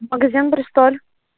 магазин бристоль